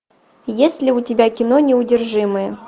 есть ли у тебя кино неудержимые